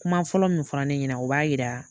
Kuma fɔlɔ min fɔra ne ɲɛna o b'a yira